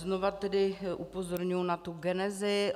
Znova tedy upozorňuji na tu genezi.